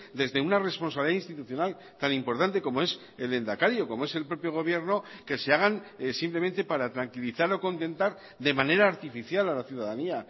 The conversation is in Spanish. desde una responsabilidad institucional tan importante como es el lehendakari o como es el propio gobierno que se hagan simplemente para tranquilizar o contentar de manera artificial a la ciudadanía